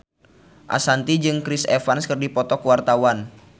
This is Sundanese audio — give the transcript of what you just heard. Ashanti jeung Chris Evans keur dipoto ku wartawan